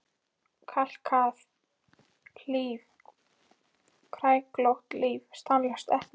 Kalkað líf, kræklótt líf, stanslaus elli.